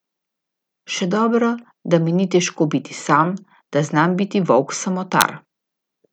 Še dobro, da mi ni težko biti sam, da znam biti volk samotar.